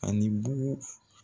Ani bugu f